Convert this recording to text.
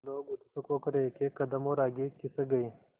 लोग उत्सुक होकर एकएक कदम और आगे खिसक गए